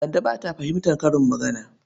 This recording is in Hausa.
Kande ba ta fahimtar karin magana.